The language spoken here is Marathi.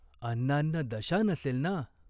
अन्नान्नदशा नसेल ना ?